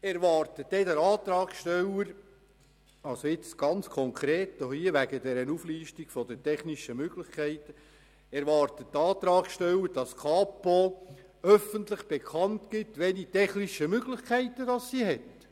Erwartet denn der Antragsteller – hier ganz konkret bei der Auflistung der technischen Möglichkeiten –, dass die Kapo öffentlich bekannt gibt, welche technischen Möglichkeiten sie hat?